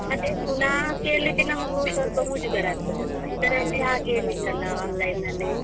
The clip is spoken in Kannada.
ಮತ್ತೆ ಪುನಃ ಕೇಳ್ಲಿಕ್ಕೆ ನಮ್ಗೂ ಸ್ವಲ್ಪ ಮುಜುಗರ ಆಗ್ತದಲ್ಲ ಇದರಲ್ಲಿ ಹಾಗೇನಿಲ್ಲ ಅಲ್ಲ online ಅಲ್ಲಿ.